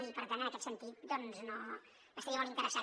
i per tant en aquest sentit doncs no estaria molt interessat